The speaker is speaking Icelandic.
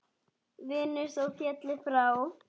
Vinur þó félli frá.